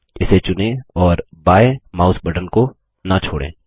इसे चुनें और बायें माउस बटन को न छोड़ें